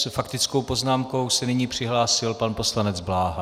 S faktickou poznámkou se nyní přihlásil pan poslanec Bláha.